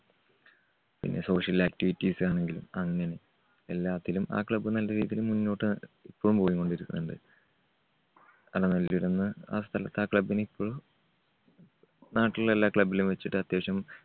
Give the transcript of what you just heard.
പിന്നെ social activities ആണെങ്കിലും അങ്ങനെ എല്ലാത്തിലും ആ club നല്ല രീതിയിൽ മുന്നോട്ട് ഇപ്പോഴും പോയികൊണ്ടിരിക്കുന്നുണ്ട്. ആ സ്ഥലത്താ club നിപ്പോൾ നാട്ടിൽ എല്ലാ club ലും വച്ചിട്ട് അത്യാവശ്യം